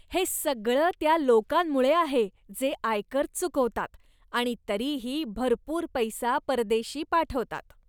हे सगळं त्या लोकांमुळं आहे जे आयकर चुकवतात आणि तरीही भरपूर पैसा परदेशी पाठवतात.